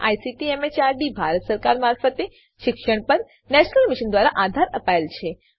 જેને ICT MHRD Bharat સરકાર મારફતે શિક્ષણ પર નેશનલ મિશન દ્વારા આધાર અપાયેલ છે